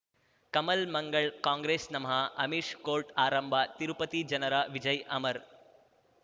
ಕಮಲ್ ಮಂಗಳ್ ಕಾಂಗ್ರೆಸ್ ನಮಃ ಅಮಿಷ್ ಕೋರ್ಟ್ ಆರಂಭ ತಿರುಪತಿ ಜನರ ವಿಜಯ್ ಅಮರ್